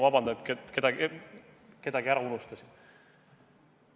Vabandust, kui kellegi ära unustasin!